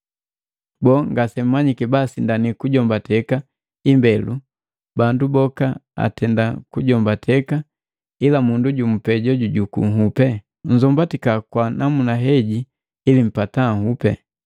Boo, ngasemmanyi basindani kujombateka imbelu, bandu boka atenda kujombateka ila mundu jumu pee joju juku nhupi? Nzombatika kwa namuna heji ili mpata nhupi.